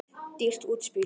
Dýrt útspil.